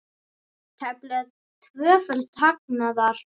Tæplega tvöföldun hagnaðar